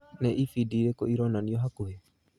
Nĩ ĩbindi irĩkũ ironanio hakuhĩ